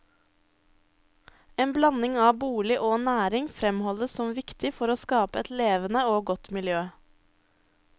En blanding av bolig og næring fremholdes som viktig for å skape et levende og godt miljø.